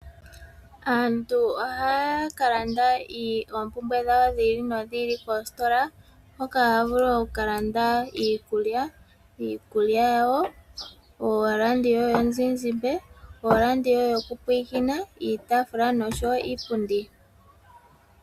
Aantu ohaya ka landa oompumbwe dhawo dhi ili nodhi ili koositola hoka haya vulu okukalanda iikulya yawo, oradio yomuzizimba, oradio yokupulakena, iitaafula noshowo iipundi.